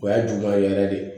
O y'a juguman yɛrɛ de ye